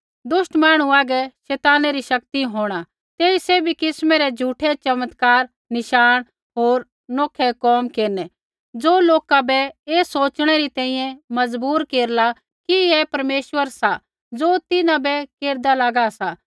दुष्ट मांहणु हागै शैताना री शक्ति होंणी तेई सैभी किस्मै रै झ़ूठै चमत्कार नशाण होर नौखै कोम केरनै ज़ो लोका बै ऐ सोच़णै री तैंईंयैं मजबूर केरला कि ऐ परमेश्वर सा ज़ो तिन्हां बै केरदा लागा सा